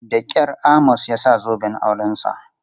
Da kyar Amos ya sa zoben aurensa.